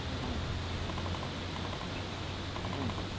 হুহু